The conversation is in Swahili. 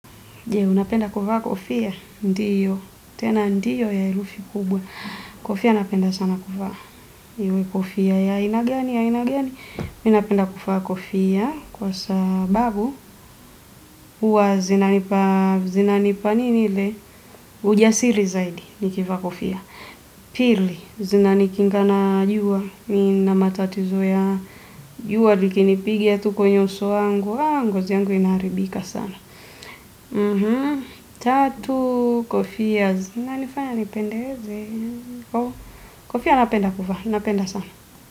Unapenda kuvaa kofia? Ndiyo, tena ndiyo ya herufi kubwa. Kofia napenda sana kuvaa iwe kofia ya aina gani ya aina gani. Minapenda kuvaa kofia kwa sababu huwa zina nipa zina nipa nini ile ujasiri zaidi nikivaa kofia. Pili zina nikinga na juwa nina matatizo ya juwa likinipiga tu kwenye uso wangu ngozi yangu inaharibika sana. Tatu, kofia, zinanifanya, nipendeze, kofia na penda kuvaa, na penda sana.